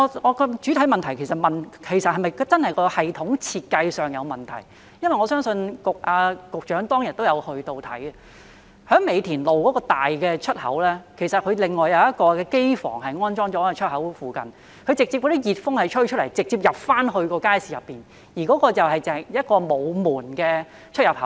我的主體質詢是問系統的設計是否存在問題，局長當日也曾前往視察，在美田路的出口，有一個機房安裝在出口附近，所排放的熱風直接吹進街市內，而那是一個沒有門的出入口。